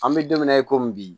An bɛ don min na i ko bi